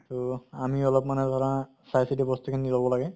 তʼ আমি অলপ মানে ধৰা চাই চিতি লʼব লাগে।